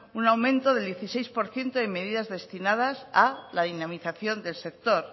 un aumento del dieciséis por ciento en medidas destinadas la dinamización del sector